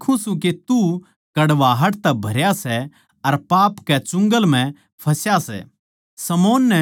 क्यूँके मै देक्खूँ सूं के तू कड़वाहट तै भरया सै अर पाप के चुंगल म्ह फँसा सै